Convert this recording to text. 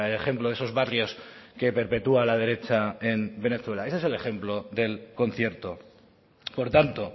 ejemplo de esos barrios que perpetúa la derecha en venezuela ese es el ejemplo del concierto por tanto